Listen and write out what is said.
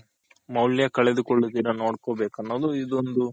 ಮೌಲ್ಯ ಕಳೆದುಕೊಳ್ಳ ದಿರ ನೋಡ್ಕೋಬೇಕು ಇದೊಂದು